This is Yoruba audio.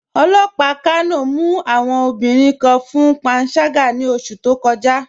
Ọlọ́pà Kano mù awọn obìnriǹ kàn fún pànságà ní ọṣù tó kọ̀já